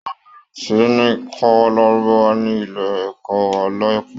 Wọn yóò bẹ̀rẹ̀ sí ní kọ́ lárúbáwá ní ilé ẹ̀kọ́ wa láìpẹ́